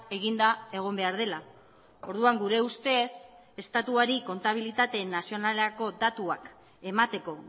eginda egon behar dela orduan gure ustez estatuari kontabilitate nazionalako datuak emateko